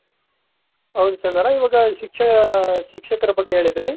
ಹೌದು ಚಂದನ ಇವಾಗ ಶಿಕ್ಷ ಶಿಕ್ಷಕರ ಬಗ್ಗೆ ಹೇಳಿದ್ರಿ